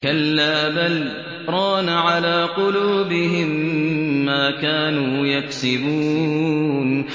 كَلَّا ۖ بَلْ ۜ رَانَ عَلَىٰ قُلُوبِهِم مَّا كَانُوا يَكْسِبُونَ